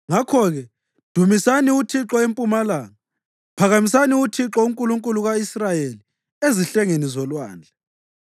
Ngakho-ke dumisani uThixo empumalanga; phakamisani uThixo, uNkulunkulu ka-Israyeli, ezihlengeni zolwandle.